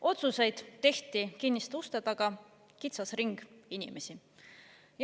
Otsuseid tehti kinniste uste taga kitsas ringis.